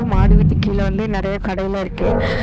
மாடி வீட்டுக்கு கீழ வந்து நெறையா கடையெல்லா இருக்கு.